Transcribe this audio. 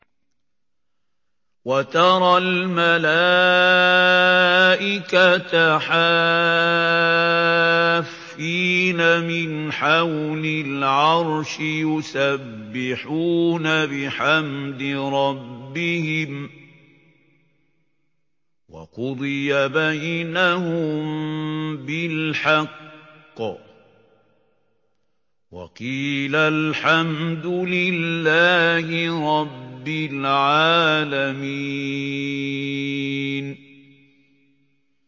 وَتَرَى الْمَلَائِكَةَ حَافِّينَ مِنْ حَوْلِ الْعَرْشِ يُسَبِّحُونَ بِحَمْدِ رَبِّهِمْ ۖ وَقُضِيَ بَيْنَهُم بِالْحَقِّ وَقِيلَ الْحَمْدُ لِلَّهِ رَبِّ الْعَالَمِينَ